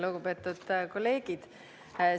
Lugupeetud kolleegid!